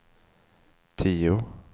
tio